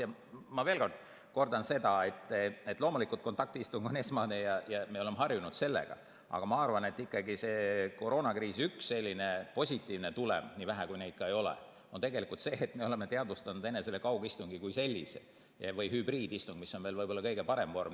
Ja ma kordan veel seda, et loomulikult kontaktistung on esmane ja me oleme harjunud sellega, aga ma arvan, et koroonakriisi selline positiivne tulem, nii vähe kui neid ka ei ole, on tegelikult see, et me oleme teadvustanud enesele kaugistungi kui sellise või hübriidistungi, mis on võib-olla veel kõige parem vorm.